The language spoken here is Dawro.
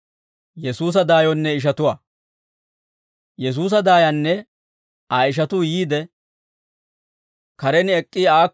Yesuusa daayanne Aa ishatuu yiide, karen ek'k'i aakko asaa kiittiide, Aa s'eesisseeddino.